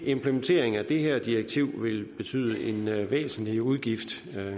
implementering af det her direktiv vil betyde en væsentlig udgift